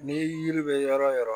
Ni yiri bɛ yɔrɔ o yɔrɔ